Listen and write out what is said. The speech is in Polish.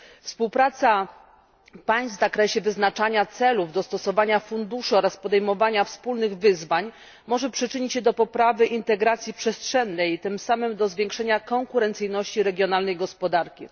Współpraca państw w zakresie wyznaczania celów, dostosowania funduszy oraz podejmowania wspólnych wyzwań może przyczynić się do poprawy integracji przestrzennej i tym samym do zwiększenia konkurencyjności regionalnej gospodarki.